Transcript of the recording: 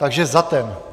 Takže za ten.